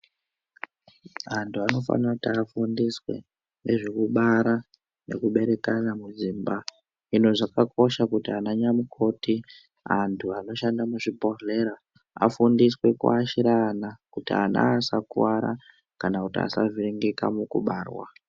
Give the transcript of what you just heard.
Antu anofanira kuti afundiswe nezvekubara nekuberekana mudzimba. Hino zvakakosha kuti ananyamukoti ,antu anoshanda muzvibhodhlera ,afundiswe kuashira ana, kuti ana asakuwara ,kana kuti asavhiringika mukubarwa.